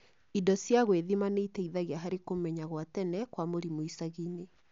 Indo cia gwĩthima nĩiteithagia harĩ kũmenya gwa tene kwa mũrimũ icagi-ini